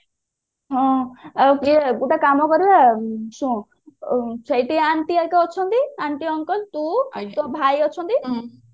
ହଁ ଏବେ ଗୋଟେ କାମ କରିବା ଶୁଣୁ ସେଇଠି anti ହେରିକା ଅଛନ୍ତି aunty uncle ତୁ ତୋ ଭାଇ ଅଛନ୍ତି